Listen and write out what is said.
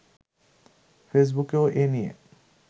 ফেসবুকেও এ নিয়ে